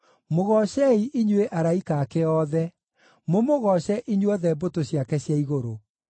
Mũgoocei, inyuĩ araika ake othe, mũmũgooce, inyuothe mbũtũ ciake cia igũrũ.